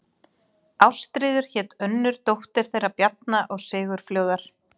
Ástríður hét önnur dóttir þeirra Bjarna og Sigurfljóðar.